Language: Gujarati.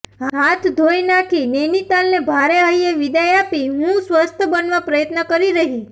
હાથ ધોઇ નાંખી નૈનિતાલને ભારે હૈયે વિદાય આપી હું સ્વસ્થ બનવા પ્રયત્ન કરી રહી